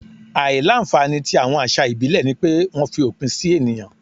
Àìlà-nfànì tí awọn wọn àṣà ìbílẹ̀ ni pé wọ́n fi òpin sì ènìyàn.